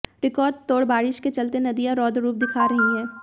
रिकॉर्डतोड़ बारिश के चलते नदियां रौद्र रूप दिखा रही हैं